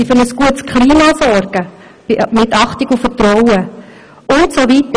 Sie müssen für ein gutes Klima der Achtung und des Vertrauens sorgen usw.